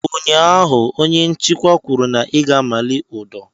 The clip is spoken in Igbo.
Ụnyaahụ, onye nchịkwa kwuru na ị ga-amali ụdọ!